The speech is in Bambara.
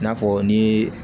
I n'a fɔ ni